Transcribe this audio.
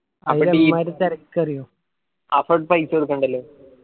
അപ്പൊ paisa കൊടുക്കണ്ടല്ലോ.